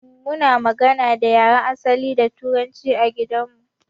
Muna magana da yaren asali da turanci a gidan mu.